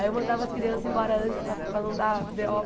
Aí eu mandava as crianças embora antes para para não dar bê ó